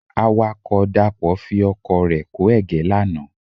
Awakọ̀ Dàpọ̀ fi ọkọ̀ rẹ kó ẹ̀gẹ́ lánàá.